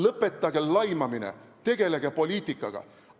Lõpetage laimamine, tegelege poliitikaga!